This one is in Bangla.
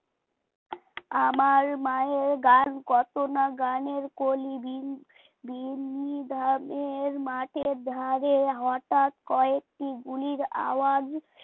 আমার মায়ের গান কত না গানের কলি বীন বিনি ধামের মাঠের ধারে হঠাৎ কয়েকটি গুলির আওয়াজ